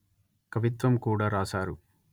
కవిత్వం కూడా రాశారు